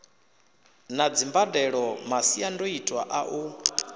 na dzimbadelo masiandoitwa a u